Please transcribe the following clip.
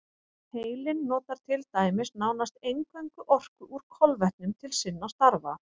Heilinn notar til dæmis nánast eingöngu orku úr kolvetnum til sinna stafa.